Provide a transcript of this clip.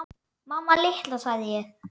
Mamma litla, sagði ég.